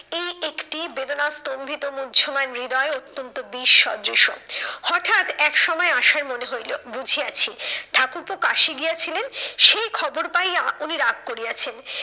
এই একটি বেদনা স্তম্ভিত মুহ্যমান হৃদয় অত্যন্ত বিসদৃশ। হটাৎ একসময় আশার মনে হইলো, বুঝিয়াছি ঠাকুরপো কাশি গিয়াছিলেন সেই খবর পাইয়া উনি রাগ করিয়াছেন।